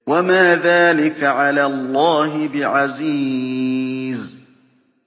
وَمَا ذَٰلِكَ عَلَى اللَّهِ بِعَزِيزٍ